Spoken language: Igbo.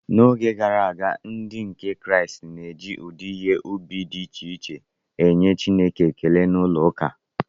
N’oge gara aga, Ndị nke Kraịst na-eji ụdị ihe ubi dị iche iche enye Chineke ekele n’ụlọụka